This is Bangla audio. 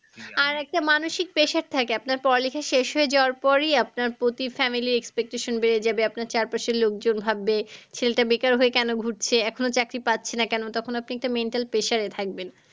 আর একটা মানসিক pressure থাকে আপনার পড়ালেখা শেষ হয়ে যাওয়ার পরই আপনার প্রতি family র expectations বেড়ে যাবে আপনার চারপাশের লোকজন ভাববে ছেলেটা বেকার হয়ে কেন ঘুরছে? এখনো চাকরি পাচ্ছে না কেন? তখন আপনি একটা mental pressure থাকবেন।